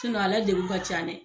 a ladegun ka can dɛ.